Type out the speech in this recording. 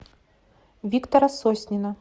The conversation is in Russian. виктора соснина